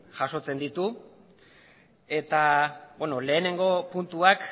jasotzen ditu eta lehenengo puntuak